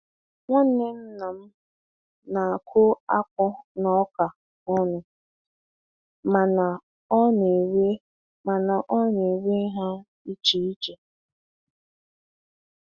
Nwanne nna m na-akụ akpu na ọka ọnụ mana ọ na-ewe mana ọ na-ewe ha iche iche.